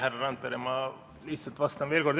Härra Randpere, ma lihtsalt vastan veel kord.